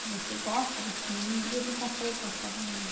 Se você gosta desse menino, ele não consegue gostar do menino.